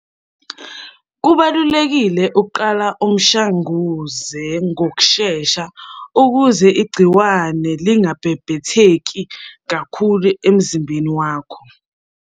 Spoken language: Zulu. Kubalulekile ukuqala umshanguze ngokushesha ukuze igciwane lingabhebhetheki kakhulu emzimbeni wakho.